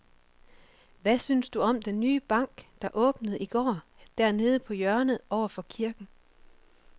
Hvad synes du om den nye bank, der åbnede i går dernede på hjørnet over for kirken?